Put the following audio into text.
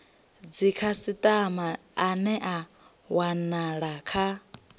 dzikhasitama ane a wanala kha